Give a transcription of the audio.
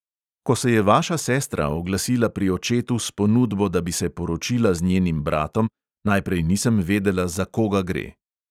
Ko se je vaša sestra oglasila pri očetu s ponudbo, da bi se poročila z njenim bratom, najprej nisem vedela, za koga gre.